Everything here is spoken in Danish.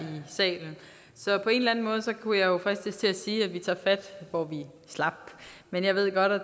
salen så på en eller anden måde kunne jeg fristes til at sige at vi tager fat hvor vi slap men jeg ved jo godt at